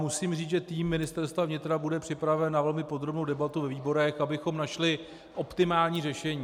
Musím říct, že tým Ministerstva vnitra bude připraven na velmi podrobnou debatu ve výborech, abychom našli optimální řešení.